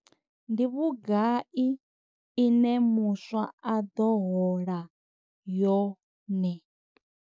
Ndi vhugai ine muswa a ḓo hola yone?